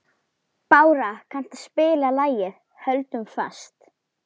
Bára, kanntu að spila lagið „Höldum fast“?